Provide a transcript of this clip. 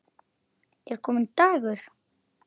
Er kominn dagur?